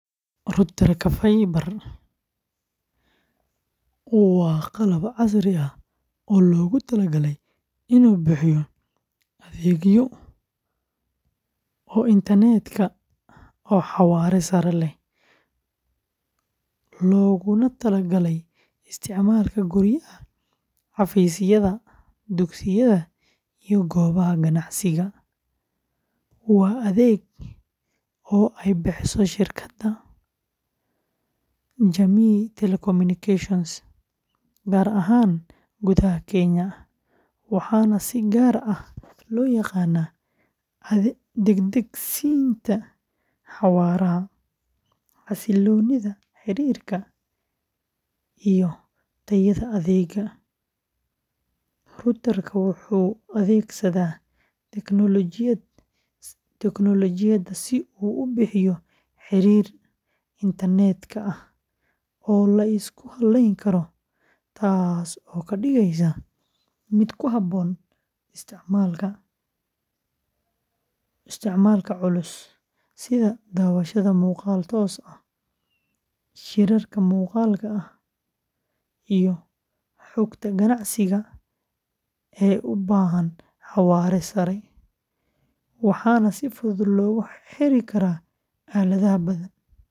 Router-ka Faiba waa qalab casri ah oo loogu talagalay inuu bixiyo adeeg internet oo xawaare sare leh, looguna talagalay isticmaalka guryaha, xafiisyada, dugsiyada iyo goobaha ganacsiga, waa adeeg internet oo ay bixiso shirkadda Jamii Telecommunications, gaar ahaan gudaha Kenya, waxaana si gaar ah loo yaqaanaa degdegsiinta xawaaraha, xasilloonida xiriirka, iyo tayada adeegga. Router-ka wuxuu adeegsadaa tiknoolajiyadda si uu u bixiyo xiriir internet-ka oo la isku halleyn karo, taas oo ka dhigaysa mid ku habboon isticmaalka culus sida daawashada muuqaal toos ah, shirarka muuqaalka ah, iyo xogta ganacsiga ee u baahan xawaare sare. Waxaa si fudud loogu xiri karaa aaladaha badan.